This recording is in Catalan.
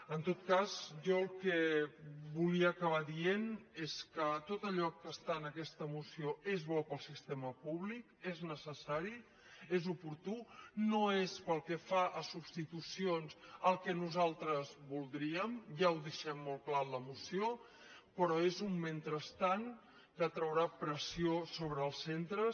en tot cas jo el que volia acabar dient és que tot allò que està en aquesta moció és bo per al sistema públic és necessari és oportú no és pel que fa a substituci·ons el que nosaltres voldríem ja ho deixem molt clar en la moció però és un mentrestant que traurà pres·sió sobre els centres